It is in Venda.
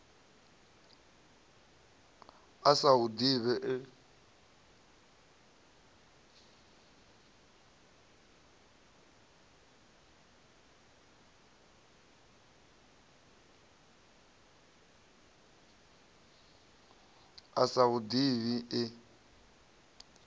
a sa hu ḓivhi e